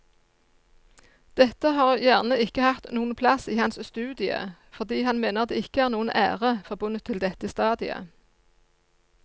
Dette har gjerne ikke hatt noen plass i hans studie fordi han mener det ikke er noen ære forbundet til dette stadiet.